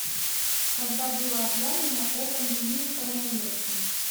когда было объявлено о пандемии коронавируса